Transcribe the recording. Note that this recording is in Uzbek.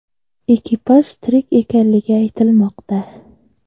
Ekipaj tirik ekanligi aytilmoqda.